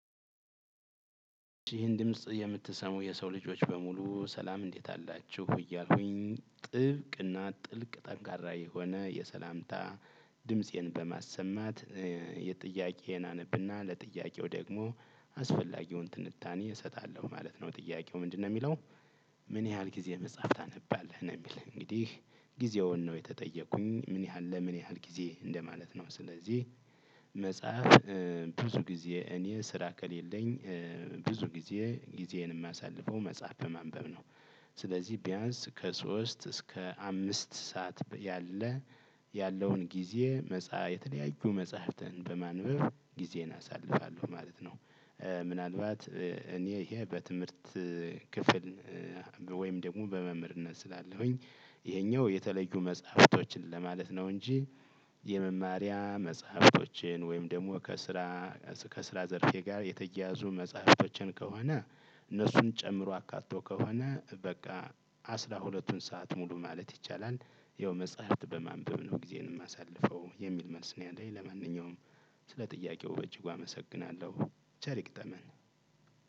ይህን ድምጽ የምትሰሙ የሰው ልጆች በሙሉ ሰላም እንዴት አላችሁ እያልኩኝ ጥብቅ እና ጥልቅ ጠንካራ የሆነ የሰላምታ ድምፄን በማሰማት የጥያቄን አነብና ለጥያቄው ደግሞ አስፈላጊውን ትንታኔ እሰጣለሁ ማለት ነው። ጥያቄው ምንድነው የሚለው? ምን ያህል ጊዜ መጽሐፍ ታነባለህ ነው የሚል እንግዲህ ጊዜውን ነው የተጠየኩኝ ምን ያህል ለምን ያህል ጊዜ እንደማለት ነው። ስለዚህ መጽሐፍ ብዙ ጊዜ እኔ ስራ ከሌለኝ ብዙ ጊዜ ጊዜዬን የማሳልፈው መጽሐፍ በማንበብ ነው። ስለዚህ ቢያንስ ከሶስት እስከ አምስት ሰዓት ያለ ያለውን ጊዜ መጽሐፍ የተለያዩ መጽሐፍትን በማንበብ ጊዜየን አሳልፋለሁ ማለት ነው። ምናልባት እኔ ይሄ በትምህርት ክፍል ወይም ደግሞ በመምህርነት ስላለሁኝ ይሄኛው የተለዩ መጽሐፍቶችን ለማለት ነው። እንጂ የመማሪያ መጽሐፍቶችን ወይም ደግሞ ከስራ ከስራ ዘርፌ ጋር የተያያዙ መጽሐፍቶችን ከሆነ እነሱን ጨምሮ አካቶ ከሆነ በቃ አስራ ሁለቱን ሰዓት ሙሉ ማለት ይቻላል። ያው መጽሐፍት በማንበብ ነው ጊዜን የማሳልፈው የሚል መልስ እኔ አለኝ። ለማንኛውም ስለ ጥያቄው በእጅጉ አመሰግናለሁ ቸር ይግጠመን።